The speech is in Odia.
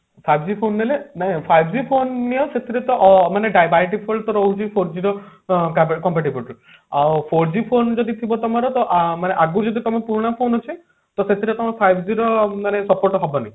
five G phone ନେଲେ ନାଇଁ five G ନେଲେ ସେଥିରେ ତ by default ରହୁଛି four G ର comparability ଆଉ four G phone ଯଦି ଥିବ ତମର ତ ଆଗରୁ ଯଦି ତମେ ପୁରୁଣା phone ଅଛି ସେଥିରେ ତମେ five G ର ମାନେ support ହବନି